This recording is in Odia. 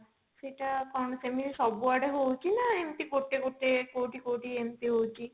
ସେଟା କଣ ସେମିତି ସବୁଆଡେ ହଉଛି ନା ଏମତି ଗୋଟେ ଗୋଟେ କଉଠି କଉଠି ଏମତି ହଉଛି?